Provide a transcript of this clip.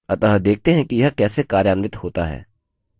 अतः देखते हैं कि यह कैसे कार्यान्वित होता है